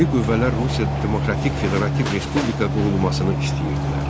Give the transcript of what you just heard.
Milli qüvvələr Rusiyada demokratik federativ respublika qurulmasını istəyirdilər.